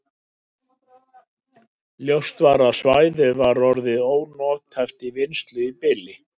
Ljóst var að svæðið var orðið ónothæft til vinnslu í bili.